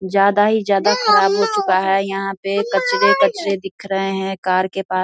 ज्यादा ही ज्यादा खराब हो चुका है यहाँ पे कचरे-कचरे दिख रहे है कार के पा --